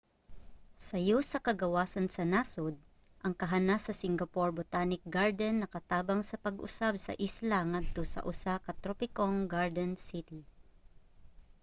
sayo sa kagawasan sa nasod ang kahanas sa singapore botanic garden nakatabang sa pag-usab sa isla ngadto sa usa ka tropikong garden city